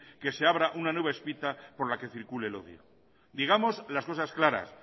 que se abra una nueva espita por la que circule el odio digamos las cosas claras